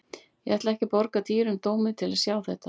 Ég ætla ekki að borga dýrum dómi til að sjá þetta.